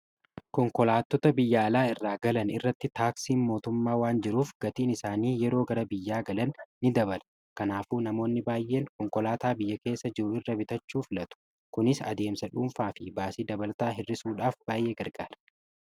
konkolaatota biyya alaa irraa galan irratti taaksiin mootummaa waan jiruuf gatiin isaanii yeroo gara biyyaa galan ini dabala kanaafuu namoonni baay'een konkolaataa biyya keessa jiruu irra bitachuufilatu kunis adeemsa dhuunfaa fi baasii dabalataa hirrisuudhaaf baay'ee gargaara